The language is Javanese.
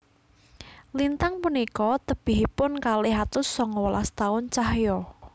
Lintang punika tebihipun kalih atus sanga welas taun cahya